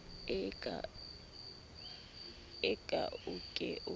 ee a o ke o